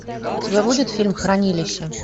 у тебя будет фильм хранилище